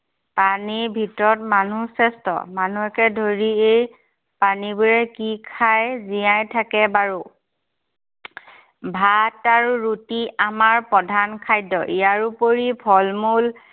প্ৰাণীৰ ভিতৰত মানুহ শ্ৰেষ্ঠ। মানুহকে ধৰি এই প্ৰাণীবোৰে কি খাই জীয়াই থাকে বাৰু। ভাত আৰু ৰুটি আমাৰ প্ৰধান খাদ্য়। ইয়াৰোপৰি ফল-মূল